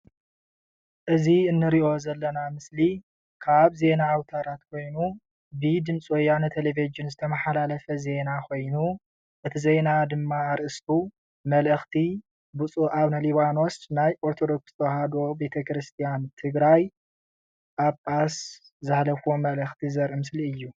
እዚ ንሪኦ ዘለና ምስሊ ካብ ዜና ኣውታራት ኮይኑ ብድምፂ ወያነ ቴለቭዥን ዝተመሓላለፈ ዜና ኾይኑ እቲ ዜና ድማ ኣርእስቱ መልእኽቲ ብፁእ ኣቡነ ሊባኖስ ናይ ኦርተዶክስ ተዋህዶ ቤተክርስያን ትግራይ ጳጳስ ዘሕለፍዎ መልእኽቲ ዘርኢ ምስሊ እዩ ።